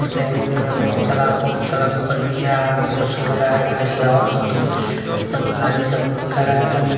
और बैंक भी है बहुत सारा बहुत सारा घर भी है आगे पोस्टर लगा है गाड़ी और ये गाड़ी